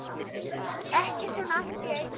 Ekki svona allt í einu.